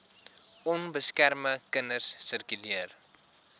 onbeskermde kinders sirkuleer